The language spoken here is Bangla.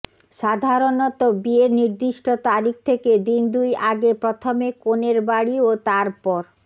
সাধারণত বিয়ের নির্দিষ্ট তারিখ থেকে দিন দুই আগে প্রথমে কনের বাড়ি ও তারপর